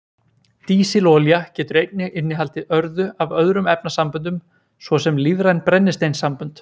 Dísilolía getur einnig innihaldið örðu af öðrum efnasamböndum, svo sem lífræn brennisteinssambönd.